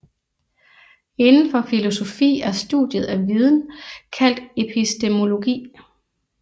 Indenfor filosofi er studiet af viden kaldt epistemologi